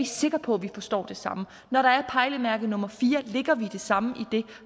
sikre på at vi forstår det samme når der er et pejlemærke nummer fire lægger vi det samme